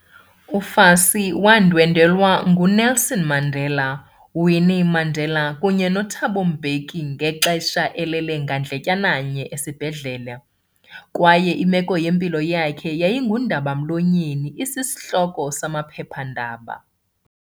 UFassie wandwendwelwa nguNelson Mandela, Winnie Mandela, kunye noThabo Mbeki ngelixa elele ngandletyana nye esibhedlele, kwaye imeko yempilo yakhe yayingundaba-mlonyeni isishloko samaphepha-ndaba.